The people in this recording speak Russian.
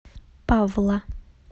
павла